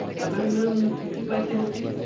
सगळे मिळून किती पैसे होतील?